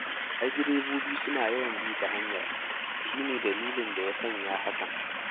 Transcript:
Ai direbobi suna yawan bi ta hanyar shi ne dalilin da ya sanya hakan.